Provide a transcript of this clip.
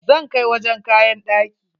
Zan kai wajen kayan ɗaki.